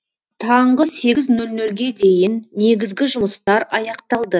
таңғы сегіз нөл нөлге дейін негізгі жұмыстар аяқталды